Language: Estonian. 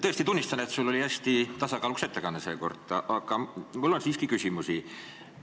Tõesti tunnistan, et sul oli seekord hästi tasakaalukas ettekanne, aga mul on siiski küsimusi.